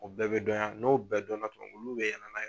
O bɛɛ bɛ dɔnyan n'o bɛɛ dɔn na tuma min olu bɛ yɛlɛ n'a ye